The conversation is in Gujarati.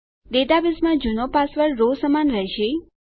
ડેટાબેઝમાં જુનો પાસવર્ડ રો સમાન રહેશે